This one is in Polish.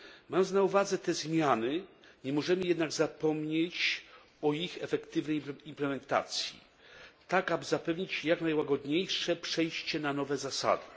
Mając na uwadze te zmiany, nie możemy jednak zapomnieć o ich efektywnej implementacji, tak aby zapewnić jak najłagodniejsze przejście na nowe zasady.